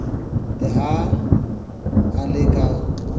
le ha a le ka